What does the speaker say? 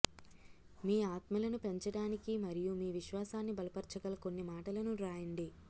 మీ ఆత్మలను పెంచడానికి మరియు మీ విశ్వాసాన్ని బలపర్చగల కొన్ని మాటలను వ్రాయండి